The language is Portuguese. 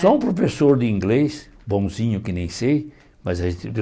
Só um professor de inglês, bonzinho que nem sei, mas